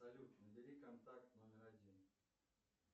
салют набери контакт номер один